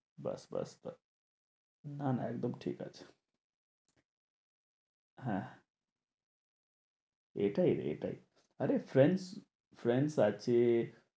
ব্যাস ব্যাস ব্যাস না না একদম ঠিকাছে হ্যাঁ এটাই এটাই আরে friends friends